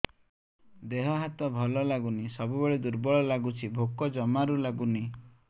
ଦେହ ହାତ ଭଲ ଲାଗୁନି ସବୁବେଳେ ଦୁର୍ବଳ ଲାଗୁଛି ଭୋକ ଜମାରୁ ଲାଗୁନି